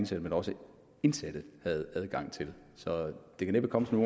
som også indsatte havde adgang til det kan næppe komme som